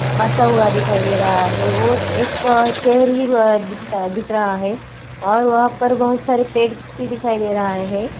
मासा हुआ दिखाई दे रहा है वो एक अ शहर वि अ दिखता दिख रहा है और वहाँ पर बहोत सारे पेड़ भी दिखाई दे रहा है ।